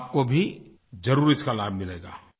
आपको भी ज़रूर इसका लाभ मिलेगा